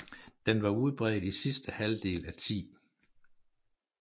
Den var udbredt i sidste halvdel af 10